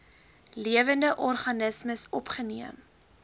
lewende organismes opgeneem